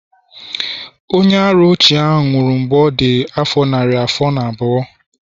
onye-ara ochie nwuru mgbe ọ dị afọ narị afọ na abụọ